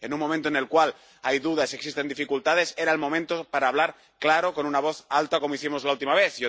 En un momento en el cual hay dudas y existen dificultades, era el momento para hablar claro, con una voz alta, como hicimos la última vez.